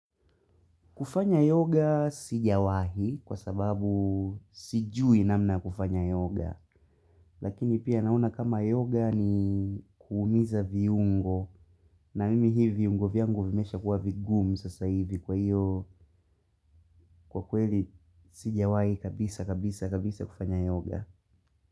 Kufanya yoga sijawahi kwa sababu sijui namna ya kufanya yoga, lakini pia naona kama yoga ni kuumiza viungo, na mimi hii viungo vyangu vimeshakuwa vigumu sasa hivi kwa hiyo kwa kweli sijawahi kabisa kabisa kabisa kufanya yoga.